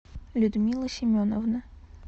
людмила семеновна